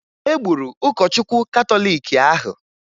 E gburu ụkọchukwu katọliiki ahụ